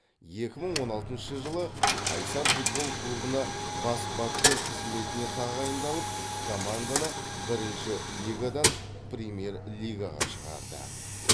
екі мың он алтыншы жылы қайсар футбол клубына бас бапкер қызметіне тағайындалып команданы бірінші лигадан премьер лигаға шығарды